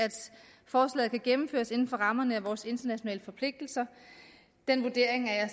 forslaget kan gennemføres inden for rammerne af vores internationale forpligtelser den vurdering er